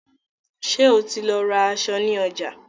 Ṣé o ti lọ ra aṣọ in ọjà?